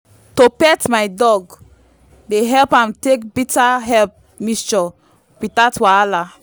to pet my dog dey help am take bitter herb mixture without wahala.